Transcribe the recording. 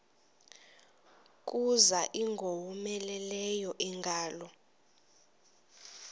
kuza ingowomeleleyo ingalo